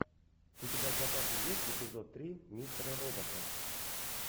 у тебя в запасе есть эпизод три мистера робота